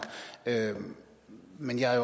men jeg er